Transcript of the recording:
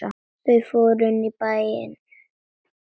Þau fóru inn í bæ.